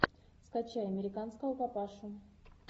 скачай американского папашу